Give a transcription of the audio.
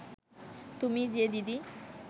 তুমি যে দিদি